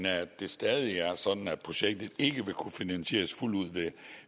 af at det stadig er sådan at projektet ikke ville kunne finansieres fuldt ud